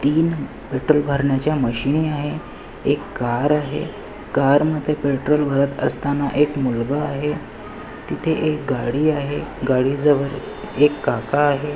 तीन पेट्रोल भरण्याच्या मशीनी आहे एक कार आहे कारमध्ये पेट्रोल भरत असताना एक मुलगा आहे तिथे एक गाडी आहे गाडीजवळ एक काका आहे.